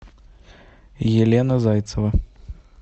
елена зайцева